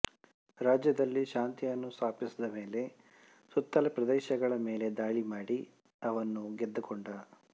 ರಾಜ್ಯದಲ್ಲಿ ಶಾಂತಿಯನ್ನು ಸ್ಥಾಪಿಸಿದಮೇಲೆ ಸುತ್ತಲ ಪ್ರದೇಶಗಳ ಮೇಲೆ ದಾಳಿ ಮಾಡಿ ಅವನ್ನು ಗೆದ್ದುಕೊಂಡ